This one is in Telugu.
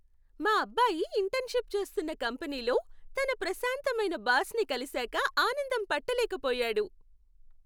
మా అబ్బాయి ఇంటర్న్షిప్ చేస్తున్న కంపెనీలో, తన ప్రశాంతమైన బాస్ని కలిసాక ఆనందం పట్టలేక పోయాడు.